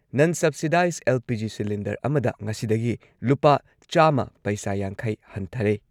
ꯅꯟ subsidise LPG. Cylinder ꯑꯃꯗ ꯉꯁꯤꯗꯒꯤ ꯂꯨꯄꯥ ꯆꯥꯝꯃ ꯄꯩꯁꯥ ꯌꯥꯡꯈꯩ ꯍꯟꯊꯔꯦ ꯫